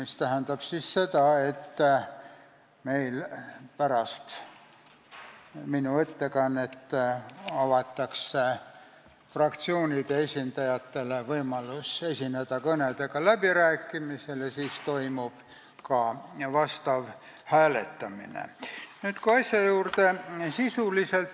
See tähendab seda, et pärast minu ettekannet avatakse läbirääkimised, kus fraktsioonide esindajatel on võimalus esineda kõnega, ja siis toimub ka hääletamine.